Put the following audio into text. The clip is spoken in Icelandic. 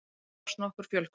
þá hófst nokkur fjölgun